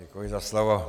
Děkuji za slovo.